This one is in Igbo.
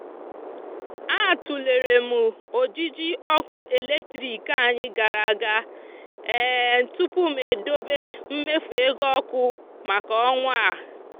a tụlere m ojiji ọkụ eletrik anyị gara aga tupu m dobe mmefu ego ọkụ maka ọnwa a.